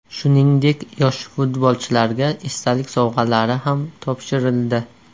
Shuningdek yosh futbolchilarga esdalik sovg‘alari ham topshirildi.